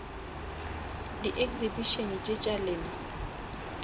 di exhibition tše tša lena